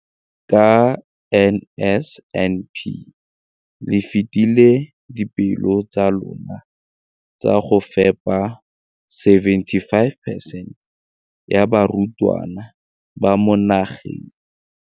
Ka NSNP le fetile dipeelo tsa lona tsa go fepa 75 percent ya barutwana ba mo nageng.